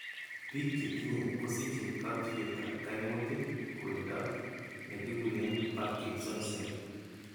Biik chetindo kosiche katuiyetab kaimutik kewendot ne kikuren parkinsonism.